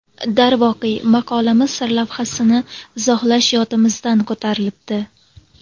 Darvoqe, maqolamiz sarlavhasini izohlash yodimizdan ko‘tarilibdi.